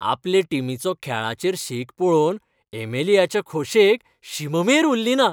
आपले टिमीचो खेळाचेर शेक पळोवन एमेलियाचे खोशेक शीम मेर उरली ना